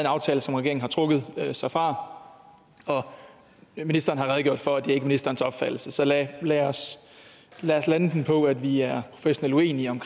aftale som regeringen har trukket sig fra og ministeren har redegjort for at det ikke er ministerens opfattelse så lad lad os lande den på at vi er professionelt uenige om